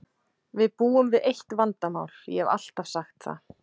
Við búum við eitt vandamál, ég hef alltaf sagt það.